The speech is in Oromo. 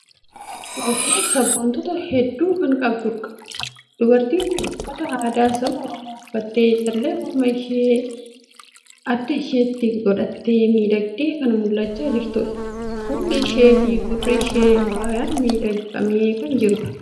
Oromoon sabboontuta hedduu kan qabudha. Dubartiin kun uffata aadaa saba Oromoo uffattee, callee morma ishee gi adda isheetti godhattee miidhagdee kan mul'achaa jirtudha! Fuulli ishee fi gurri ishee faayaan miidhagfamee kan jirudha.